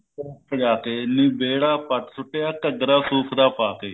ਪੋਕ ਸਜਾ ਕੇ ਨੀ ਵਿਹੜਾ ਪੱਟ ਸੁੱਟਿਆ ਘੱਗਰਾ ਸੂਤ ਦਾ ਪਾ ਕੇ